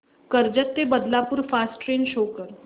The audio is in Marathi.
कर्जत ते बदलापूर फास्ट ट्रेन शो कर